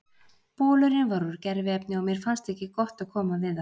Bolurinn var úr gerviefni og mér fannst ekki gott að koma við það.